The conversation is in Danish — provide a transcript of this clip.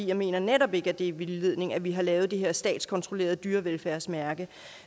jeg mener netop ikke at det er vildledning at vi har lavet det her statskontrollerede dyrevelfærdsmærke